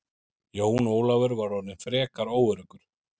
Jón Ólafur var orðinn frekar óöruggur.